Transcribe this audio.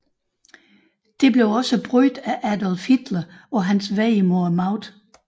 Dette blev også brugt af Adolf Hitler på hans vej mod magten